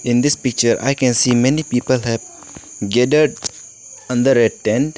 in this picture i can see many people have gathered on the red tent.